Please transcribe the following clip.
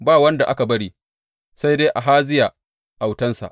Ba wanda aka bari, sai dai Ahaziya autansa.